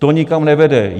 To nikam nevede.